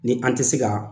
Ni an tɛ se ka